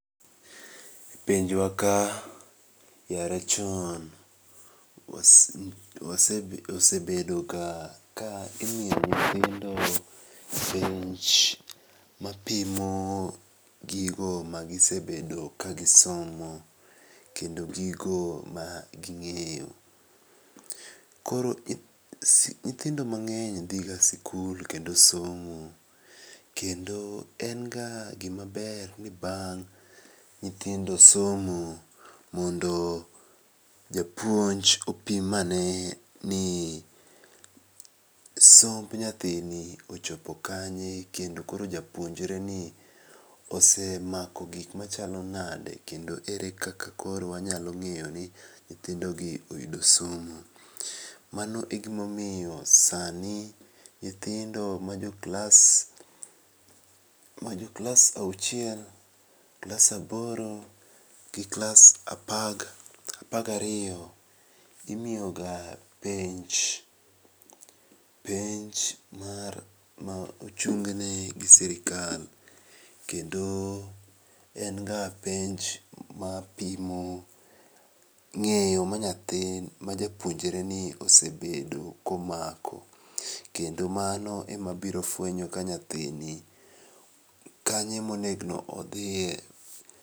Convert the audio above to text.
E pinjwa ka yare chon osebedoga ka imiyo nyithindo penj mapimo gigo magisebedo kagisomo, kendo gigo maging'eyo. Koro nyithindo mang'eny dhiga sikul kendo somo, kendo en ga gimaber ni bang' nyithindo somo mondo japuonj opimane ni somb nyathini ochopo kanye, kendo koro japuonjre ni osemako gikma chalo nade kendo ere kaka koro wanyalo ng'eyoni nyithindo gi oyudo somo. Mano egimomiyo sani nyithindo majo klas auchiel, klas aboro, gi klas apar gi ariyo imiyoga penj. Penj ma ochung' ne gi sirkal, kendo en ga penj mapimo ng'eyo manyathi majapuonjreni osebedo komako, kendo mano emabiro fuenyo ka nyathini kanye monego odhie.